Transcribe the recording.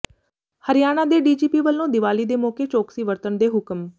ਹਰਿਆਣਾ ਦੇ ਡੀਜੀਪੀ ਵਲੋਂ ਦਿਵਾਲੀ ਦੇ ਮੌਕੇ ਚੌਕਸੀ ਵਰਤਣ ਦੇ ਹੁਕਮ